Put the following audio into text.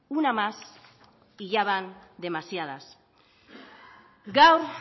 una más y ya van demasiadas gaur